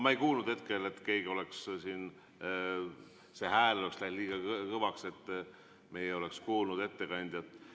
Ma ei kuulnud hetkel, et kellegi hääl oleks läinud liiga kõvaks, et me ei oleks kuulnud ettekandjat.